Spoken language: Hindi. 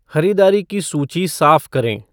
ख़रीदारी की सूची साफ़ करें